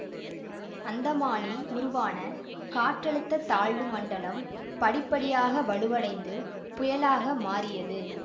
அந்தமானில் உருவான காற்றழுத்த தாழ்வு மண்டலம் படிப்படியாக வலுவடைந்து புயலாக மாறியது